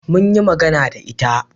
mun yi magana da ita